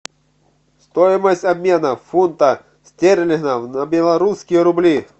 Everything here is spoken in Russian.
стоимость обмена фунта стерлингов на белорусские рубли